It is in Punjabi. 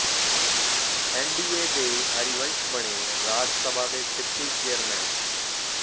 ਐੱਨਡੀਏ ਦੇ ਹਰਿਵੰਸ ਬਣੇ ਰਾਜ ਸਭਾ ਦੇ ਡਿਪਟੀ ਚੇਅਰਮੈਨ